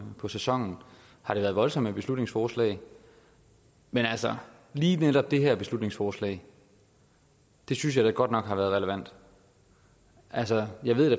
på sæsonen har det været voldsomt med beslutningsforslag men lige netop det her beslutningsforslag synes jeg da godt nok har været relevant altså jeg ved da